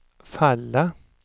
falla